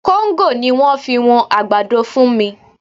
Kóńgò ni wọ́n fi wọn àgbàdo fún mi